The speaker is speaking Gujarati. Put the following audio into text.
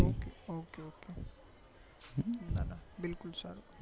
ઓકે ઓકે બિલકુલ સર